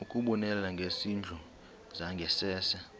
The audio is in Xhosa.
ukubonelela ngezindlu zangasese